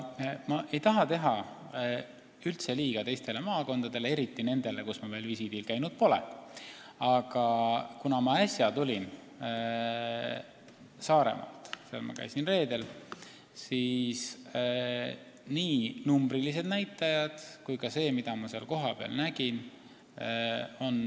Ma ei taha üldse teha liiga teistele maakondadele, eriti nendele, kus ma veel visiidil käinud pole, aga ma tulin äsja Saaremaalt – ma käisin seal reedel –, kus olid muljet avaldavad nii numbrilised näitajad kui ka see, mida ma kohapeal nägin.